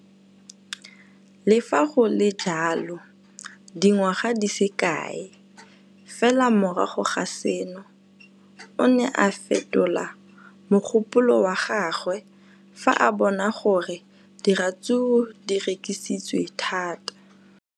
Le fa go le jalo, dingwaga di se kae fela morago ga seno, o ne a fetola mogopolo wa gagwe fa a bona gore diratsuru di rekisiwa thata.